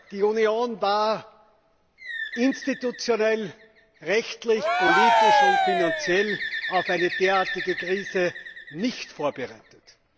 Die Union war institutionell, rechtlich, politisch und finanziell auf eine derartige Krise nicht vorbereitet.